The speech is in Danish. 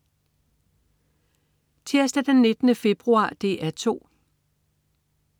Tirsdag den 19. februar - DR 2: